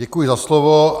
Děkuji za slovo.